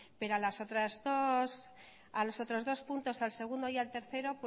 pero a los otros dos puntos al segundo y al tercero